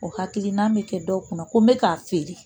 O hakilina bɛ kɛ dɔw kunna ko n bɛ k'a feere